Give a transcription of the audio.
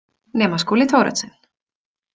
Nema Skúli Thoroddsen.